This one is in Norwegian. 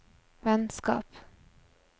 vennskap